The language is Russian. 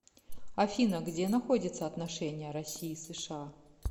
афина где находится отношения россии и сша